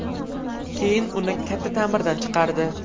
Keyin uni katta ta’mirdan chiqardi.